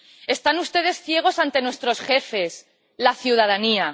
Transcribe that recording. Están ustedes ciegos ante nuestros jefes, la ciudadanía.